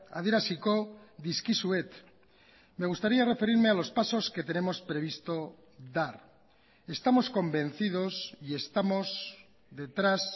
adieraziko dizkizuet me gustaría referirme a los pasos que tenemos previsto dar estamos convencidos y estamos detrás